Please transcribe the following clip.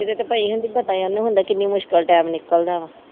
ਜਿਹਦੇ ਤੇ ਪਈ ਹੁੰਦੀ ਪਤਾ ਓਹਨੂੰ ਹੁੰਦਾ ਕਿਨ੍ਹਾ ਮੁਸ਼ਕਿਲ ਟਾਇਮ ਨਿਕਲਦਾ ਵਾ।